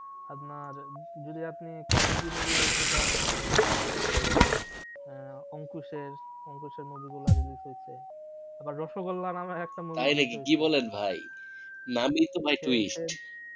আপনার যদি আপনি comedy movie দেখতে চান তাহলে ওই আহ অংকুশ এর অংকুশ এর movie গুলা release আবার রসগোল্লা নামে একটা movie তাই নাকি কি বলেন ভাই নাম ই তো ভাই twist